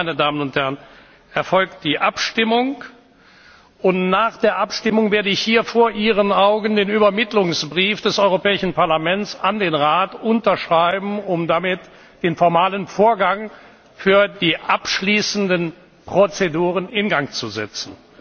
sprechen wird. Danach erfolgt die Abstimmung, und nach der Abstimmung werde ich hier vor Ihren Augen den Übermittlungsbrief des Europäischen Parlaments an den Rat unterschreiben, um damit den formalen Vorgang für die abschließenden Prozeduren in